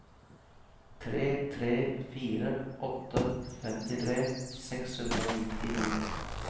tre tre fire åtte femtitre seks hundre og nittini